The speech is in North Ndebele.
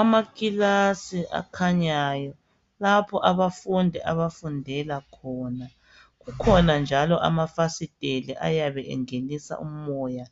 Amakilasi akhanyayo, lapho abafundi abafundela khona. Kukhona njalo amafasiteli ayabe engenisa umoya